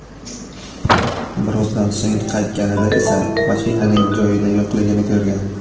Birozdan so‘ng qaytganida esa mashinaning joyida yo‘qligini ko‘rgan.